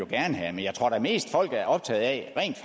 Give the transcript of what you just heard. gerne have men jeg tror da mest at folk er optaget af rent